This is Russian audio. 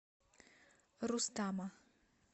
рустама